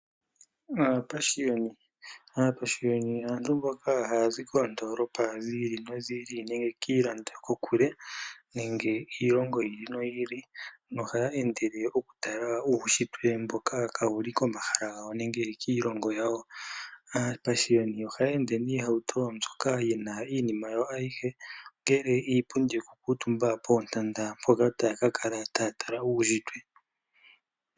Aapashiyoni Aapashiyoni aantu mboka haya zi koondolopa dhiili nodhiili nenge kiilando yokokule nenge kiilongo yiili noyiili nohaya endele oku tala uushitwe mboka kawuli komahala gawo nenge kiilongo yawo. Aapashiyoni ohaya ende noohauto dhoka dhina iinima yawo ayihe ongele iipundi yoku kuutumba poontanda mpoka taya ka kala taya tala uushitwe.